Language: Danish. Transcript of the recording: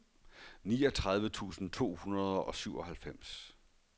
niogtredive tusind to hundrede og syvoghalvfems